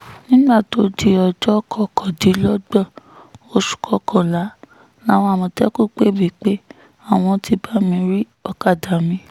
nígbà tó di ọjọ́ kọkàndínlọ́gbọ̀n oṣù kọkànlá làwọn àmọ̀tẹ́kùn pè mí pé àwọn ti bá mi rí ọ̀kadà mi